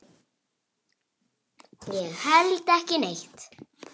Ég held ekki neitt.